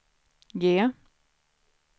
G